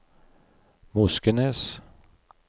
Moskenes